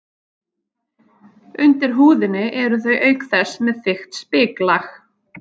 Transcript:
Undir húðinni eru þau auk þess með þykkt spiklag.